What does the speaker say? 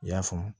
I y'a faamu